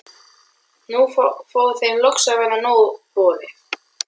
Nú fór þeim loks að verða nóg boðið.